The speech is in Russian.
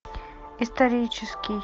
исторический